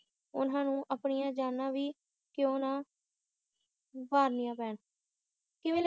ਉਨ੍ਹਾਂ ਨੂੰ ਆਪਣੀਆਂ ਜਾਨਾਂ ਵੀ ਕਿਉਂ ਨਾ ਵਾਰਨੀਆਂ ਪੈਣ ਕਿਵੇਂ ਲੱਗੀ ਜੀ